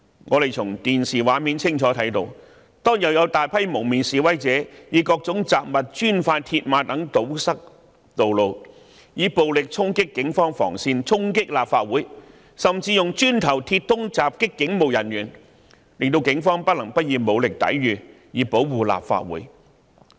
我們從電視畫面清楚看到，當天有大批蒙面示威者以各種雜物、磚塊和鐵馬等堵塞道路，暴力衝擊警方防線、衝擊立法會，甚至以磚塊和鐵枝襲擊警務人員，令警方不得不以武力抵禦，以保護立法會。